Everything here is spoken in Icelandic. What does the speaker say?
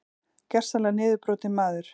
Gersamlega niðurbrotinn maður.